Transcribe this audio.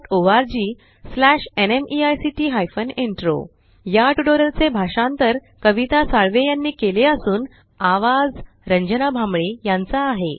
spoken tutorialorgnmeict intro या tutorial चे भाषांतर आवाज कविता साळवे यानी केले असून आवाज रंजना भांबळे यांचा आहे